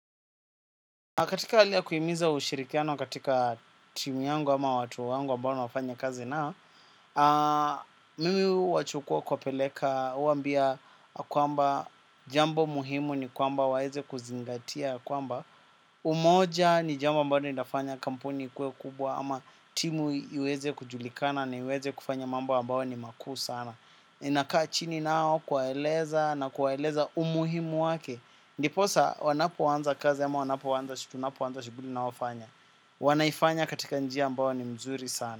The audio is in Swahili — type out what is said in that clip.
Katika alia kuyimiza ushirikiano katika timu yangu ama watu wangu ambao na wafanya kazi nao. Mimi wachukua kwapeleka uambia kuamba jambo muhimu ni kuamba waeze kuzingatia kuamba umoja ni jambo ambalo ni nafanya kampuni ikue kubwa ama timu iweze kujulikana na iweze kufanya mambo ambao ni makuu sana ninakaa chini nao kwaeleza na kwaeleza umuhimu wake. Ndiposa wanapo wanza kazi ama wanapo wanza tunapo wanza shuguli naowafanya. Wanaifanya katika njia ambao ni mzuri sana.